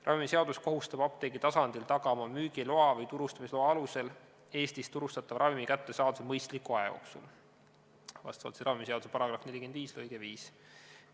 Ravimiseadus kohustab apteegi tasandil tagama müügiloa või turustamisloa alusel Eestis turustatava ravimi kättesaadavuse mõistliku aja jooksul, vastavalt ravimiseaduse § 45 lõikele 5.